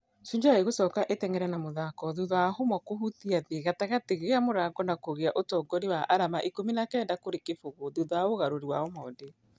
Shujaa igũcoka ĩtengere na mũthako thutha wa humwa kũhutia thĩ gatagatĩ gĩa mũrango na kũgĩa ũtongoria wa arama ikũmi na kenda kũrĩ kĩbũgũ thutha wa ũgarũri wa omondi.